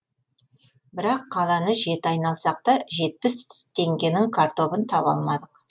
бірақ қаланы жеті айналсақ та жетпіс теңгенің картобын таба алмадық